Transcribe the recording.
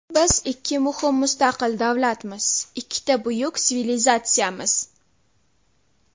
Biz ikki muhim mustaqil davlatmiz, ikkita buyuk sivilizatsiyamiz.